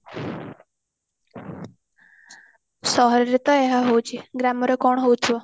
ସହର ରେ ତ ଏହା ହାଉଛି ଗ୍ରାମରେ କଣ ହଉଥିବ